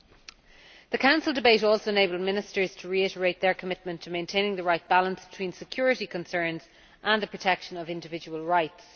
The Council debate also enabled Ministers to reiterate their commitment to maintaining the right balance between security concerns and the protection of individual rights.